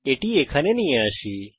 একে এখানে নিয়ে আসি